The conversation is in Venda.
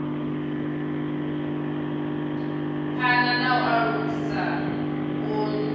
phana na u alusa vhukoni